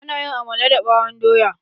Ana yin amala da ɓawon doya.